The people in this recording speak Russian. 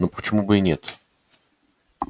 но почему бы и нет